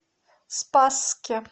спасске